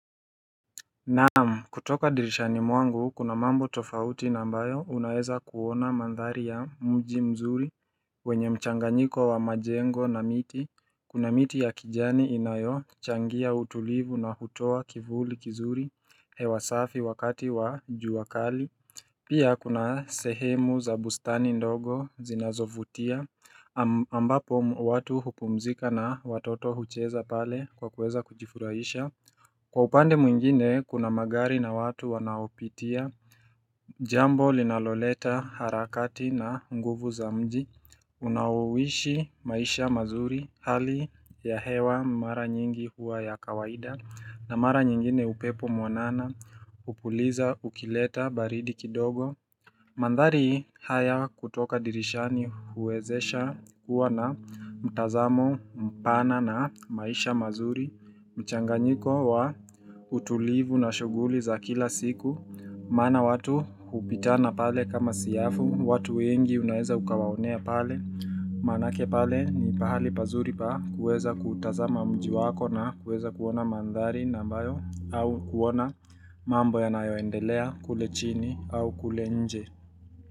Naam kutoka dirishani mwangu kuna mambo tofauti na ambayo unaeza kuona manthari ya mji mzuri wenye mchanganyiko wa majengo na miti Kuna miti ya kijani inayochangia utulivu na hutoa kivuli kizuri hewa safi wakati wa jua kali Pia kuna sehemu za bustani ndogo zinazovutia ambapo watu hupumzika na watoto hucheza pale kwa kuweza kujifurahisha Kwa upande mwingine kuna magari na watu wanaopitia Jambo linaloleta harakati na nguvu za mji Unaowshi maisha mazuri hali ya hewa mara nyingi huwa ya kawaida na mara nyingine upepo mwanana hupuliza ukileta baridi kidogo Manthari haya kutoka dirishani huwezesha kuwa na mtazamo mpana na maisha mazuri mchanganyiko wa utulivu na shughuli za kila siku Maana watu hupitana pale kama siafu watu wengi unaeza ukawaonea pale Manake pale ni pahali pazuri pa kuweza kutazama mji wako na kuweza kuona manthari na ambayo au kuona mambo yanayoendelea kule chini au kule nje.